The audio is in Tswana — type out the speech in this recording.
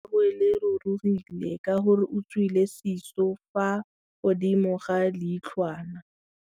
Leitlhô la gagwe le rurugile ka gore o tswile sisô fa godimo ga leitlhwana.